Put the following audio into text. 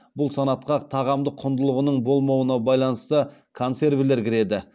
бұл санатқа тағамды құндылығының болмауына байланысты консервілер кіреді